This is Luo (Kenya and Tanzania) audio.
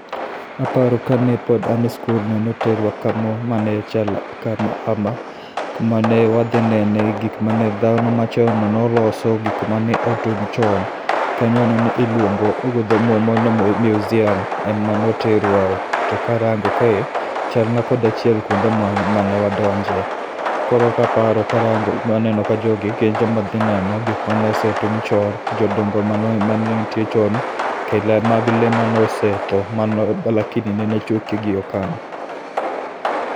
aparo kane pon ane [c]school noterwa kamo mane chalo kama hama kuma ne wadhi nene gikmane dhano machon no noloso gik mane otum chon kanyo nene iluong'o go dho ombo ni museum e mane oterwae, to karang'o kae be chalna kod achiel kuonde mane wandonje ,koro kaparo karang'o waneno ka jogi gin joma dhi neno gik mano setum chon, jodongo mane nitie chon kaila mag le manosetho lakini neno ochuki gi okang.